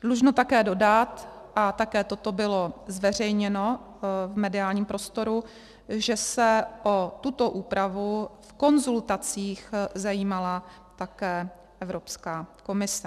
Dlužno také dodat, a také toto bylo zveřejněno v mediálním prostoru, že se o tuto úpravu v konzultacích zajímala také Evropská komise.